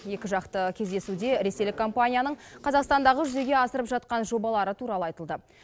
екіжақты кездесуде ресейлік компанияның қазақстандағы жүзеге асырып жатқан жобалары туралы айтылды